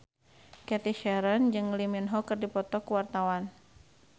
Cathy Sharon jeung Lee Min Ho keur dipoto ku wartawan